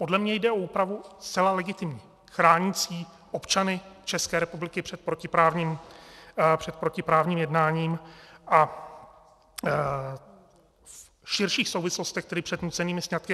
Podle mě jde o úpravu zcela legitimní, chránící občany České republiky před protiprávním jednáním a v širších souvislostech tedy před nucenými sňatky.